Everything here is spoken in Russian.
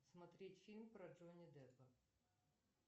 смотреть фильм про джонни деппа